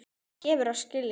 Það gefur að skilja.